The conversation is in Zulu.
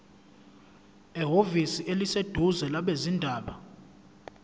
ehhovisi eliseduzane labezindaba